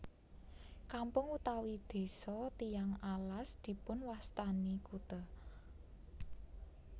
Kampung utawi desa Tiyang Alas dipunwastani kute